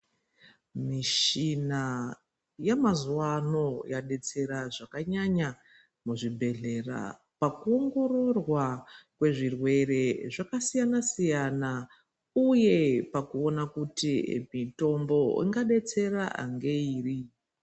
Mishina yemazuwa ano yadetsera zvakanyanya muzvibhedhlera pakuongororwa kwezvirwere zvakasiyana siyana uye pakuona kuti mitombo ingadetsera ngeiri.